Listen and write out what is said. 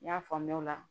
N y'a faamuya o la